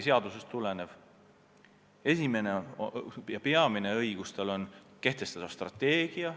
Tema peamine õigus on kehtestada strateegia.